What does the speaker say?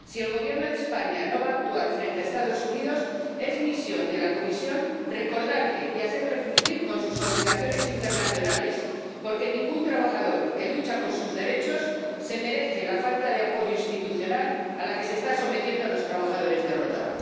Si el Gobierno de España no va a actuar frente a los Estados Unidos, es misión de la Comisión recordarle y hacerle cumplir con sus obligaciones internacionales, porque ningún trabajador que lucha por sus derechos se merece la falta de apoyo institucional a la que se está sometiendo a los trabajadores de Rota.